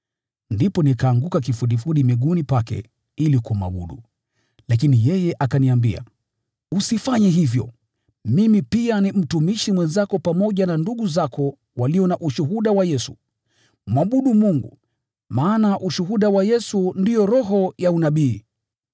Ndipo nikaanguka kifudifudi miguuni pake ili kumwabudu, lakini yeye akaniambia, “Usifanye hivyo! Mimi pia ni mtumishi mwenzako pamoja na ndugu zako walio na ushuhuda wa Yesu. Mwabudu Mungu! Maana ushuhuda wa Yesu ndio roho ya unabii.”